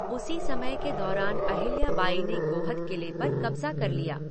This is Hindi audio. उसी समय के दौरान अहिल्या बाई ने गोहद किले पर कब्जा कर लिया।